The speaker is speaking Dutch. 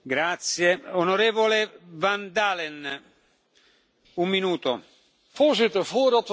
Voorzitter, voordat we nadenken over verdieping van de EMU, moeten we eerst gemaakte afspraken nakomen.